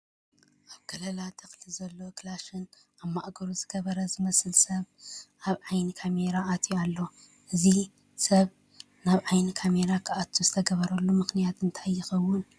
ኣብ ከለላ ተኽሊ ዘሎ ክላሽን ኣብ ማእገሩ ዝገበረ ዝመስል ሰስ ኣብ ዓይኒ ካሜራ ኣትዩ ኣሎ፡፡ እዚ ሰብ ናብ ዓይኒ ካሜራ ክኣቱ ዝተገበረሉ ምኽንያት እንታይ ይኸውን?